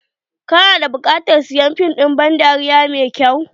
kana da buƙatar sayan fim din ban dariya mai kyau?.